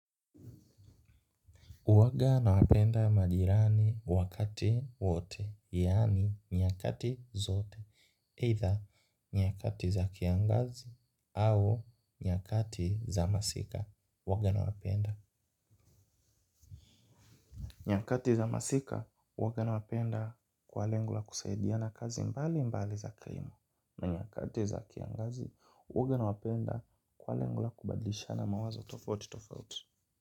Huwaga na wapenda majirani wakati wote, yaani nyakati zote. Either nyakati za kiangazi au nyakati za masika. Waga na wapenda. Nyakati za masika, huwaga nawapenda kwa lengo la kusaidiana kazi mbalimbali za kilimo. Na nyakati za kiangazi, huwaga nawapenda kwa lengo la kubadlishana mawazo tofauti tofauti.